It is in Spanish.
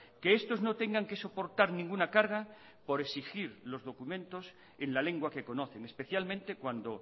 que estos no tengan que soportar ninguna carga por exigir los documentos en la lengua que conocen especialmente cuando